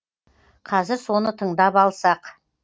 қазір соны тыңдап алсақ